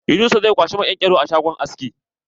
Yunusa zai kwashi maƙenƙero a shangon aski.